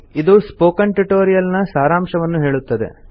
ಇದು spoken tutorial ನ ಸಾರಾಂಶವನ್ನು ಹೇಳುತ್ತದೆ